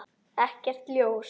Ekkert ljós.